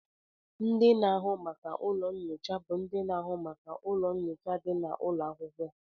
Ndị na-ahụ maka ụlọ nyocha bụ ndị na-ahụ maka ụlọ nyocha dị n'ụlọ akwụkwọ